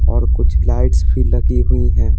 और कुछ लाइट्स भी लगी हुई हैं।